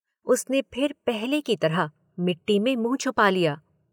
उसने फिर पहले की तरह मिट्टी में मुंह छुपा लिया।